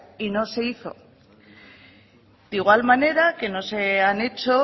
y no se hizo de igual manera que no se han hecho